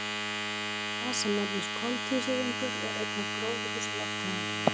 Þá myndast gas sem nefnist koltvísýringur og er ein af gróðurhúsalofttegundunum.